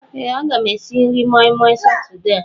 Ee a ga m esi nri moi moi Satọde a.